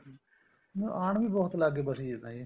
ਆਣ ਵੀ ਬਹੁਤ ਲੱਗ ਗਏ ਬਸੀ ਤਾਂ ਜੀ